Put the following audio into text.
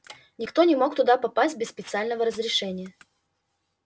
никто не мог туда попасть без специального разрешения